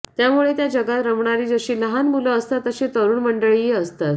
त्यामुळे त्या जगात रमणारी जशी लहान मुलं असतात तशी तरुण मंडळीही असतात